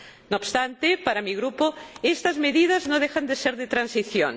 No obstante, para mi Grupo, estas medidas no dejan de ser de transición.